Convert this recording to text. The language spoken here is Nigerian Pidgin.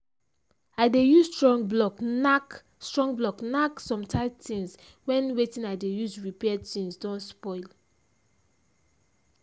i dey use strong block nack strong block nack some tight things when wetin i dey use repair things don spoil.